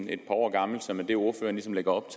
et par år gammelt som er det ordføreren ligesom lægger op